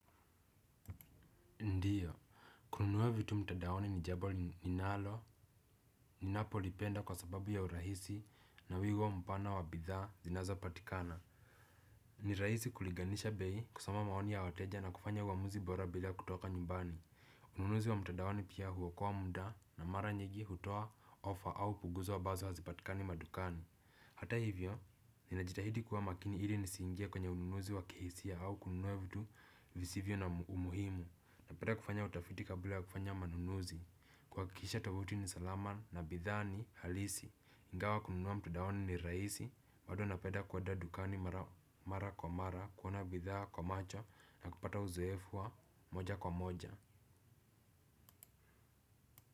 Ndiyo, kununua vitu mtandaoni ni jambo ninalo ninapolipenda kwa sababu ya urahisi na wingi wa mpana wa bidhaa zinazopatikana. Ni rahisi kuliganisha bei kusoma maoni ya wateja na kufanya uamuzi bora bila kutoka nyumbani. Ununuzi wa mtandaoni pia huokoa muda na mara nyingi hutoa ofa ambazo hazipatikani madukani, hata hivyo ninajitahidi zaidi ili nisiingie kwenye ununuzi wa kihisia au kununua vitu visivyo na muhimu. Napenda kufanya utafiti kabla ya kufanya manunuzi. Kuhakikisha tovuti ni salama na bidhaa ni halisi. Ingawa kununua mtandaoni ni rahisi bado napenda kwenda dukani mara kwa mara. Kuona bidhaa kwa macho na kupata uzoefu wa moja kwa moja.